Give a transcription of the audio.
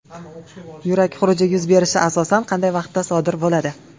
Yurak xuruji yuz berishi asosan qanday vaqtda sodir bo‘ladi?